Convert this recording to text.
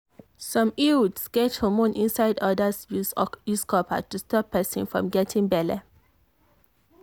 some iuds get hormone inside others use copper to stop person from getting belle.